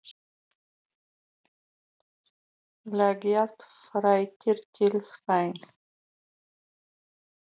Leggjast þreyttir til svefns.